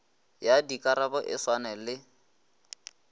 ya dikarabo e swane le